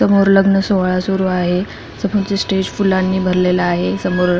समोर लग्न सोहळा सुरु आहे समोरच स्टेज फुलानी भरलेल आहे समोर --